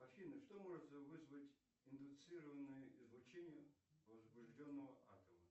афина что может вызвать индуцированное излучение возбужденного атома